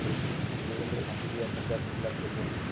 देवेंद्र झांझरिया, सरदार सिंगला 'खेलरत्न'